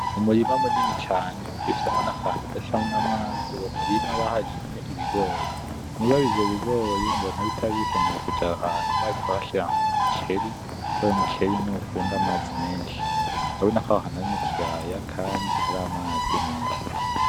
Umurima munini cane ufisemo na kantu gacamwo amazi, uwo murima baharimye ibigori, mugabo ivyo bigori mbona bitari bikenewe kuja aha hantu bari kuhashira umuceri kuko umuceri niwo ukunda amazi menshi. Urabona ko aho hantu ari mukiyaya kandi hari amazi menshi.